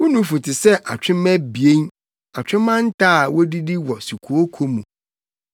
Wo nufu te sɛ atwemma abien, atwemma nta a wodidi wɔ sukooko mu.